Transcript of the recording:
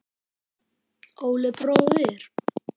Óli bróðir.